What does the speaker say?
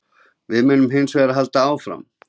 Við munum hins vegar halda áfram